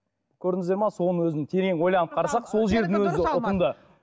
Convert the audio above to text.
көрдіңіздер ме соның өзін терең ойланып қарасақ сол жердің өзі ұтымды